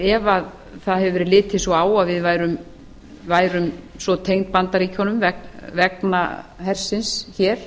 ef það hefur verið litið svo á að við værum svo tengd bandaríkjunum vegna hersins hér